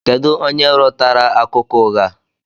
Kedu onye rọtara akụkọ ụgha a?